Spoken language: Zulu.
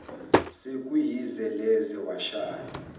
sekuyize leze washaya